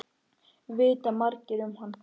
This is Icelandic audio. Vita margir um hann?